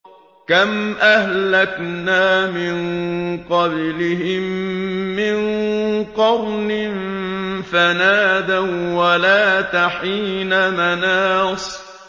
كَمْ أَهْلَكْنَا مِن قَبْلِهِم مِّن قَرْنٍ فَنَادَوا وَّلَاتَ حِينَ مَنَاصٍ